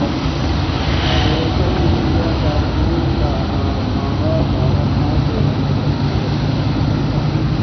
social media صارفین کا اداکارہ سارہ خان سے مذہب تبدیل کرنے کا مطالبہ